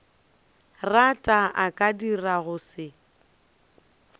rata a ka dirago se